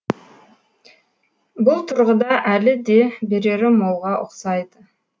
бұл тұрғыда әлі де берері молға ұқсайды